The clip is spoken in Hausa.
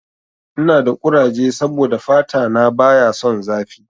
Ina da kuraje saboda fata na baya son zafi.